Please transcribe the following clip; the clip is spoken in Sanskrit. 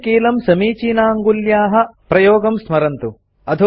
प्रतिकीलं समीचीनाङ्गुल्याः प्रयोगं स्मरन्तु